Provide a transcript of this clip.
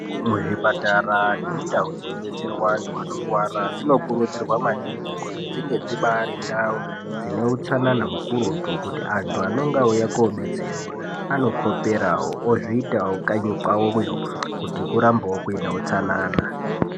Muzvipatara nemundau dzinobetserwa antu anorwara dzinokurudzirwa maningi kuti dzinge dzibari ndau dzine utsanana hukurutu. Kuti antu anonga auya kobetserwa anokoperavo ozviitavo kanyi kwavoyo kuti kurambevo kune utsanana.